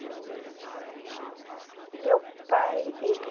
profissão deles? O meu pai ele...